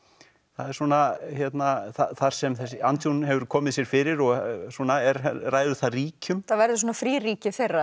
það er svona þar sem þessi hefur komið sér fyrir svona ræður þar ríkjum það verður svona fríríki þeirra